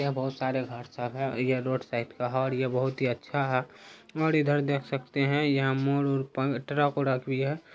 यहाँ बहुत सारे घर सब है और यह रोड साइड का है। और यह बहुत अच्छा है। और इधर देख सकते हैं यहाँ मोड़-वोड़ पर ट्रक - ब्रक भी है।